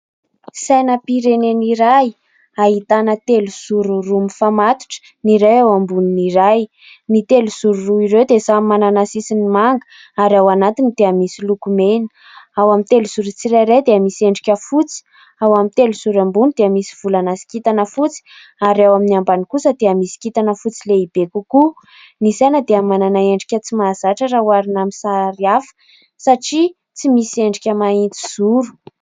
Sainam-pirenena iray ahitana telozoro roa mifamatotra: ny iray eo ambonin'ny iray, ny telozoro roa ireo dia samy manana sisyny manga ary ao anatiny dia misy lokomena, ao amin'ny telozoro tsirairay dia misy endrika fotsy, ao amin'ny telozoro ambony dia misy volana sy kintana fotsy ary ao amin'ny ambany kosa dia misy kintana fotsy lehibe kokoa. Ny saina dia manana endrika tsy mahazatra raha oharina amin'ny sary hafa satria tsy misy endrika mahitsizoro.